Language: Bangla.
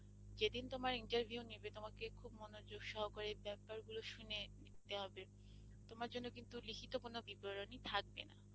যেদিন তোমার interview নেবে তোমাকে খুব মনোযোগ সহকারে ব্যাপার গুলো শুনে নিতে হবে তোমার জন্য কিন্তু লিখিত কোনো বিবরণী থাকবে না।